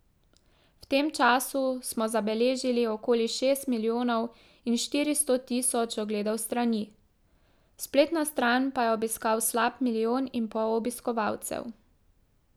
V tem času smo zabeležili okoli šest milijonov in štiristo tisoč ogledov strani, spletno stran pa je obiskalo slab milijon in pol obiskovalcev.